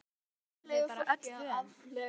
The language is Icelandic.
Eva: Hvað eruð þið bara öllu vön?